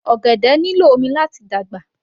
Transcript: Ọ̀gẹ̀dẹ̀ nílò omi láti dàgbà